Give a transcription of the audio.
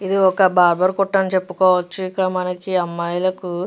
ఇది ఒక బాబర్ కొట్టాను చెప్పుకోవచ్చు. ఇక మనకి అమ్మాయిలకు --